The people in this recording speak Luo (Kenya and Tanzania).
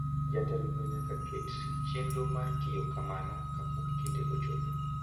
Jatelono nyaka ket chenro mar timo kamano kapok kinde ochopo.